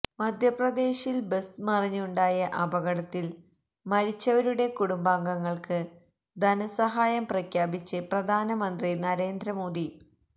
മധ്യപ്രദേശിൽ ബസ് മറിഞ്ഞുണ്ടായ അപകടത്തിൽ മരിച്ചവരുടെ കുടുംബങ്ങൾക്ക് ധനസഹായം പ്രഖ്യാപിച്ച് പ്രധാനമന്ത്രി നരേന്ദ്ര മോദി